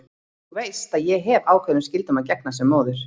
Þú veist að ég hef ákveðnum skyldum að gegna sem móðir.